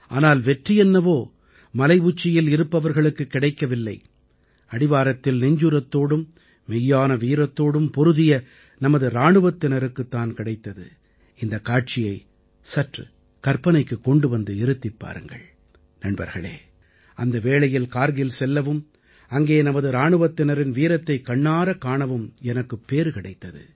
ஆனால் வெற்றி என்னவோ மலை உச்சியில் இருப்பவர்களுக்குக் கிடைக்கவில்லை அடிவாரத்தில் நெஞ்சுரத்தோடும் மெய்யான வீரத்தோடும் போரிட்ட நமது இராணுவத்தினருக்குத் தான் கிடைத்தது இந்தக் காட்சியை சற்று கற்பனைக்குக் கொண்டு வந்து இருத்திப் பாருங்கள் நண்பர்களே அந்த வேளையில் கார்கில் செல்லவும் அங்கே நமது இராணுவத்தினரின் வீரத்தைக் கண்ணாறக் காணவும் எனக்குப் பேறு கிடைத்தது